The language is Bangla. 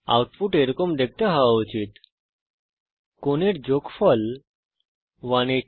আউটপুট এরকম দেখতে হওয়া উচিত কোণের যোগফল 1800